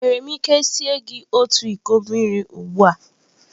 Enwere m ike sie gị otu iko mmiri ugbu a?